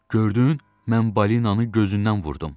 Gördün, mən balinanı gözündən vurdum.